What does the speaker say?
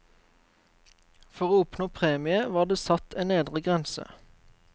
For å oppnå premie, var det satt en nedre grense.